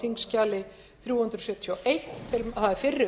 hæstvirtur forseti ég mæli hér fyrir